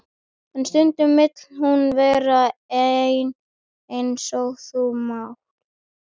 En stundum vill hún vera ein eins og þú núna.